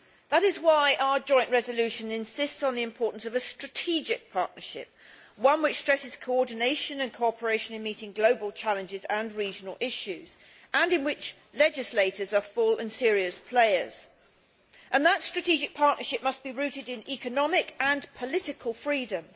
That is why our joint resolution insists on the importance of a strategic partnership, one which stresses coordination and cooperation in meeting global challenges and regional issues and in which legislators are full and serious players. That strategic partnership must be rooted in economic and political freedom.